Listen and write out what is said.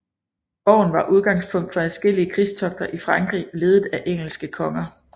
Borgen var udgangspunkt for adskillige krigstogter i Frankrig ledet af engelske konger